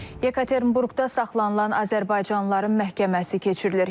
Yekaterinburqda saxlanılan azərbaycanlıların məhkəməsi keçirilir.